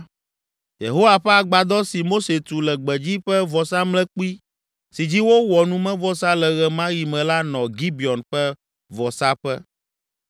Yehowa ƒe Agbadɔ si Mose tu le gbedzi ƒe vɔsamlekpui si dzi wowɔ numevɔsa le ɣe ma ɣi me la nɔ Gibeon ƒe vɔsaƒe.